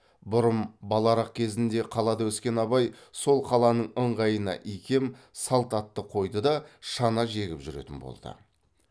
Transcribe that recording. бұрын баларақ кезінде қалада өскен абай сол қаланың ыңғайына икем салт атты қойды да шана жегіп жүретін болды